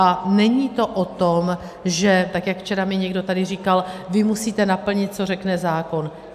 A není to o tom, že tak jak včera mi někdo tady říkal: vy musíte naplnit, co řekne zákon.